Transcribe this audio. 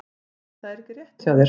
Nei, það er ekki rétt hjá þér!